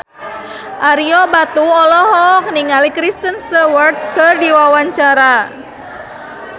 Ario Batu olohok ningali Kristen Stewart keur diwawancara